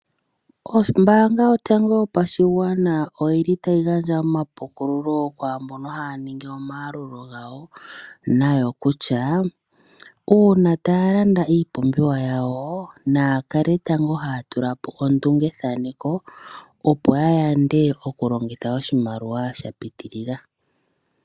Ombanga yotango yopashigwana oyili tayi gandja omapukululo kwaambono haya ningi omayalulo gawo nayo kutya uuna taya landa iipumbiwa yawo naya kale tango haya tulapo ondungethaneko opo ya yande okulongitha oshimaliwa sha pitilila.